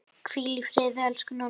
Hvíl í friði, elsku Nonni.